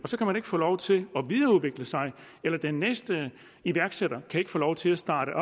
så kan man ikke få lov til at videreudvikle sig eller den næste iværksætter kan ikke få lov til at starte